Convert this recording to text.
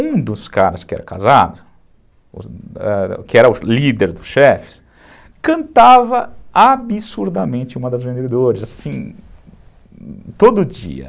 Um dos caras que era casado, ãh, que era o líder dos chefes, cantava absurdamente uma das vendedoras, assim, todo dia.